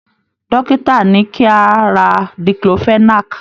Dókítà ní kí a ra diclofenac.